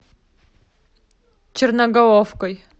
черноголовкой